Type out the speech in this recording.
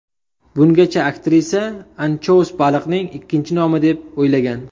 Bungacha aktrisa anchous baliqning ikkinchi nomi deb o‘ylagan.